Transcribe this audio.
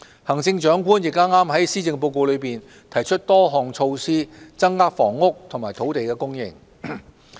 行政長官亦剛剛在施政報告中提出多項措施，增加房屋及土地供應。